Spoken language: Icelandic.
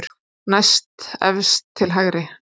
Næstefst til hægri.